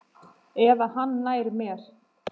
Eða hann nær mér.